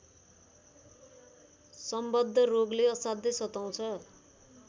सम्बद्ध रोगले असाध्यै सताउँछ